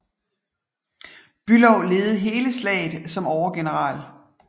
Bülow ledede hele slaget som overgeneral